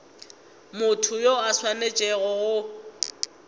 motho yo a swanetšego go